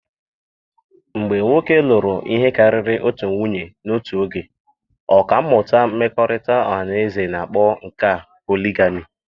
Mgbe nwoke lụrụ ihe karịrị otu nwunye n'otu oge, ọkà mmụta mmekọrịta ọha na eze na-akpọ nke a poligamị.